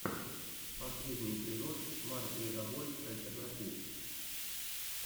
последний эпизод марк легобой альтернатив